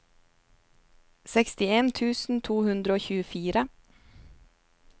sekstien tusen to hundre og tjuefire